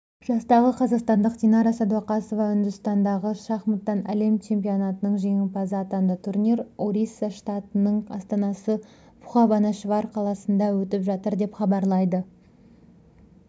жастағы қазақстандық динара садуақасова үндістандағы шахматтан әлем чемпионатының жеңімпазы атанды турнир орисса штатының астанасы бхубанешвар қаласында өтіп жатыр деп хабарлайды